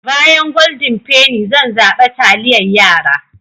Bayan Golden penny zan zaɓe taliyar yara.